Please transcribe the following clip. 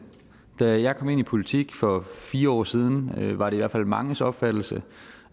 da jeg kom ind i politik for fire år siden var det i hvert fald manges opfattelse